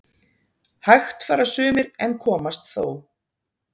Hægt fara sumir en komast þó